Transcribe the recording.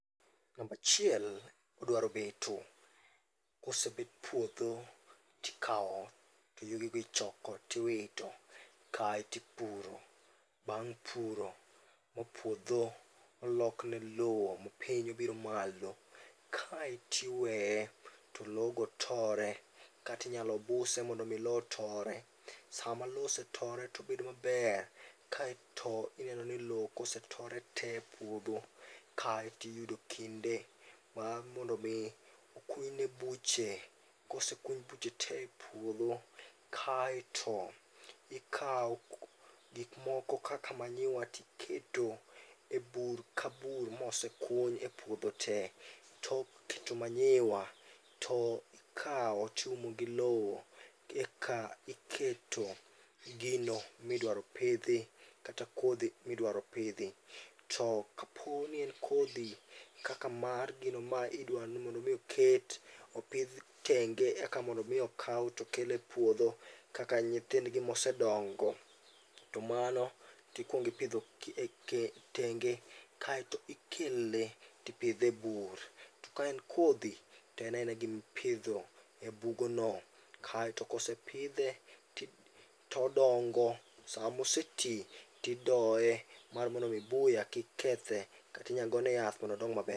Namba achiel, oduaro beto. Kosebet puodho, to ikawo to yugigo ichoko, to iwito kaeto ipuro. Bang' puro ma puodho olokne lowo ma mapiny obiro malo, kae tiweye to lowogo tore, kata inyalo buse mondo mi lowo otore. Sama lowo osetore to obedo maber, kaeto ineno ni lowo kose torete epuodho, kaeto iyudo kinde mar mondo mi ikuny buche. Kosekuny buche te epuodho, kaeto ikawo gik moko kaka manyiwa to iketo ebur ka bur mane osekuny e puodho te. Iketo manyiwa to ikawo to iumo gi lowo eka iketo gino midwaro pidhi, kata kodhi ma idwaro pidhi. To kapo ni en kodhi ma kaka mar gino ma idwaro ni mondo mi oket opidh thenge eka mondo mi okaw to kel e puodho kaka nyithindgi mosedongo. To mano, To ikuongo ipidho e thenge kaeto ikele to ipidhe ebur. To ka en kodhi, to en aena gima ipidho e bugono. Kosepidhe, to odongo. Sama ose ti to idoye mondo buya kik kethe. Kata inyalo gone yath mondo odong maber.